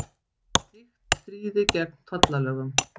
Slíkt stríði gegn tollalögum